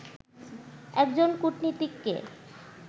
একজন কূটনীতিককে